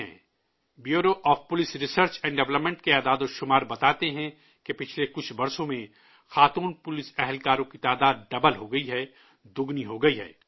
bureau of police research and development کے اعداد و شمار بتاتے ہیں کہ گزشتہ کچھ برسوں میں خواتین پولیس کی تعداد ڈبل ہو گئی ہے، دو گنی ہو گئی ہے